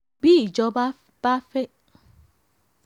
bí ìjọba bá fẹ́